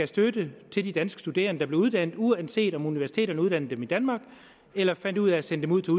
støtte til de danske studerende der bliver uddannet uanset om universiteterne uddannede dem i danmark eller fandt ud af at sende dem til